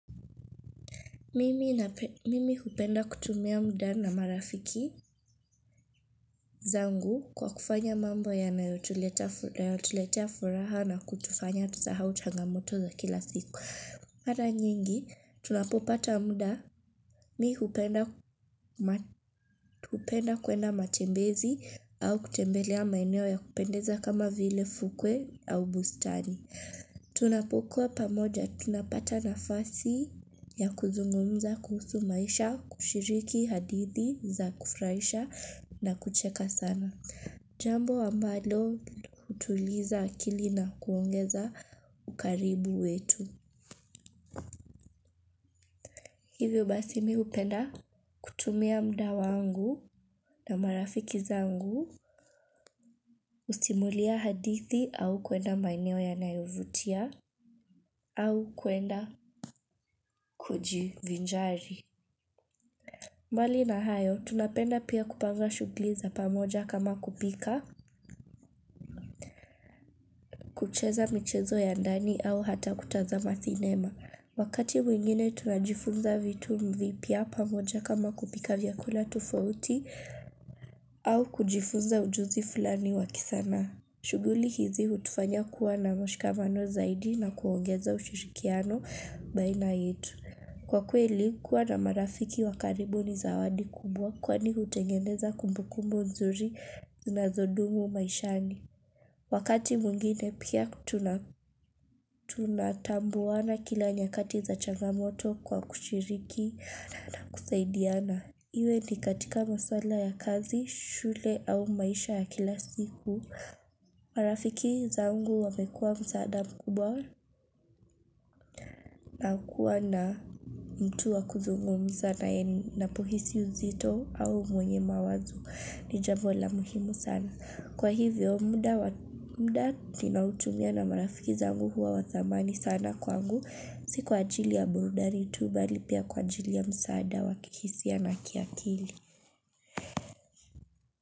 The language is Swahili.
Mimi hupenda kutumia muda na marafiki zangu kwa kufanya mambo ya nayotuletea furaha na kutufanya tunasahau changamoto za kila siku. Mara nyingi, tunapopata muda, mi hupenda kwenda matembezi au kutembelea maeneo ya kupendeza kama vile fukwe au bustani. Tunapokua pamoja, tunapata nafasi ya kuzungumza kuhusu maisha, kushiriki hadithi za kufuraisha na kucheka sana. Jambo ambalo hutuliza akili na kuongeza ukaribu wetu. Hivyo basi mi hupenda kutumia muda wangu na marafiki zangu, kusimulia hadithi au kuenda maeneo yanayovutia au kuenda kuji vinjari. Mbali na hayo, tunapenda pia kupanga shughuli za pamoja kama kupika, kucheza michezo ya ndani au hata kutazama cinema. Wakati wengine tunajifunza vitu vipya pamoja kama kupika vyakula tofauti au kujifunza ujuzi fulani wakisanaa. Shughuli hizi hutufanya kuwa na mshikamano zaidi na kuongeza ushirikiano baina yetu. Kwa kweli kuwa na marafiki wa karibu ni zawadi kubwa kwani utengeneza kumbu kumbu nzuri na zinazodumu maishani. Wakati mwinngine pia tunatambuana na kila nyakati za changamoto kwa kushiriki na na kusaidiana. Iwe ni katika masala ya kazi, shule au maisha ya kila siku. Marafiki zangu wamekua msaada mkubwa na kuwa na mtu wa kuzungumza naye napohisi uzito au mwenye mawazo ni jambo la muhimu sana Kwa hivyo muda ninaotumia na marafiki zangu huwa wathamani sana kwangu siku ajili ya burudani tu bali pia kwa ajili ya msaada wakihisia na kiakili.